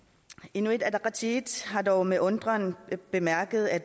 inuit ataqatigiit har dog med undren bemærket at